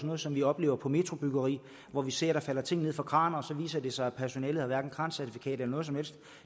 noget som vi oplever på metrobyggeriet hvor vi ser at der falder ting ned fra kraner og det så viser sig at personalet hverken har krancertifikat eller noget som helst